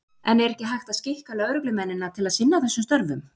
En er ekki hægt að skikka lögreglumennina til að sinna þessum störfum?